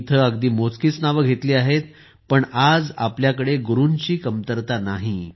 मी इथे अगदी मोजकीच नावे घेतली आहेत पण आज आपल्याकडे गुरूंची कमतरता नाही